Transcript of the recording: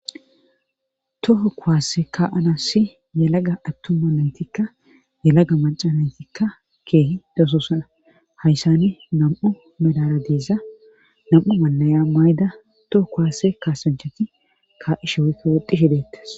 toho kuwaasse kaanassi yalaga attuma nantikka yalaga macanantikka keehi dasosana hayssani nam7u medara diiza nam7u malaya mayda toho kuwaase kaasanchati kaa7ishe wekka woxishi deettes